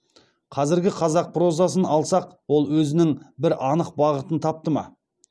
қазіргі қазақ прозасын алсақ ол өзінің бір анық бағытын тапты ма